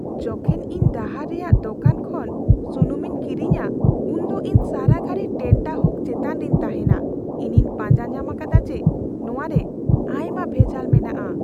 ᱡᱚᱠᱷᱮᱡ ᱤᱧ ᱰᱟᱦᱟᱨ ᱨᱮᱭᱟᱜ ᱫᱚᱠᱟᱱ ᱠᱷᱚᱱ ᱥᱩᱱᱩᱢᱤᱧ ᱠᱤᱨᱤᱧᱟ ᱩᱱ ᱫᱚ ᱤᱧ ᱥᱟᱨᱟᱜᱷᱟᱲᱤ ᱴᱮᱱᱴᱟᱦᱩᱠ ᱪᱮᱛᱟᱱ ᱨᱤᱧ ᱛᱟᱦᱮᱱᱟ ᱾ ᱤᱧᱤᱧ ᱯᱟᱸᱡᱟ ᱧᱟᱢ ᱟᱠᱟᱫᱟ ᱡᱮ ᱱᱚᱣᱟ ᱨᱮ ᱟᱭᱢᱟ ᱵᱷᱮᱡᱟᱞ ᱢᱮᱱᱟᱜᱼᱟ ᱾